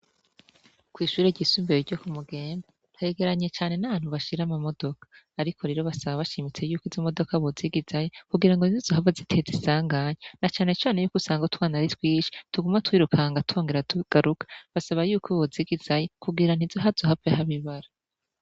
Kw'ishure ryisumvire ryo ku mugemba ntegeranye cane na bantubashira amamodoka, ariko rero basaba bashimitse yuko izo imodoka bozigizaye kugira ngo nzizohaa zitee zisanganya na canecane yuko usanga twanari twishi tugumwa twirukanga thongera tugaruka basaba yuko bouzigizaye kugira ntizohoazohave ho abibara.